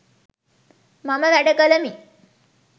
මම වැඩ කළෙමි